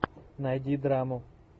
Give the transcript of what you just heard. найди драму